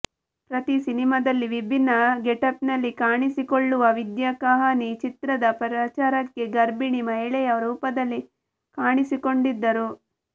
ಪ್ರತಿ ಸಿನಿಮಾದಲ್ಲಿ ವಿಭಿನ್ನ ಗೆಟಪ್ನಲ್ಲಿ ಕಾಣಿಸಿಕೊಳ್ಳುವ ವಿದ್ಯಾ ಕಹಾನಿ ಚಿತ್ರದ ಪ್ರಚಾರಕ್ಕೆ ಗರ್ಭಿಣಿ ಮಹಿಳೆಯ ರೂಪದಲ್ಲಿ ಕಾಣಿಸಿಕೊಂಡಿದ್ದರು